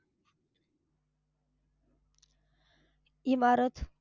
इमारत.